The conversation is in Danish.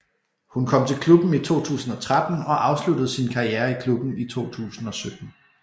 Hun kom til klubben i 2013 og afsluttede sin karriere i klubben i 2017